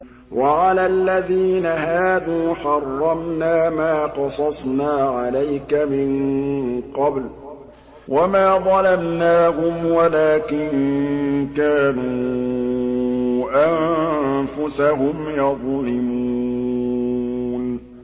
وَعَلَى الَّذِينَ هَادُوا حَرَّمْنَا مَا قَصَصْنَا عَلَيْكَ مِن قَبْلُ ۖ وَمَا ظَلَمْنَاهُمْ وَلَٰكِن كَانُوا أَنفُسَهُمْ يَظْلِمُونَ